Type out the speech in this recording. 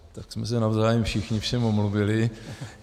Tak jsme se navzájem všichni všem omluvili.